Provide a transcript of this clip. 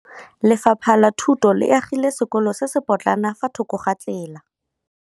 Lefapha la Thuto le agile sekôlô se se pôtlana fa thoko ga tsela.